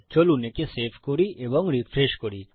চলুন একে সেভ করি এবং রিফ্রেশ করি